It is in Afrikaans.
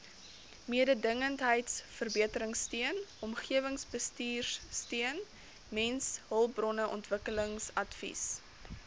mededingendheidsverbeteringsteun omgewingsbestuursteun mensehulpbronontwikkelingsadvies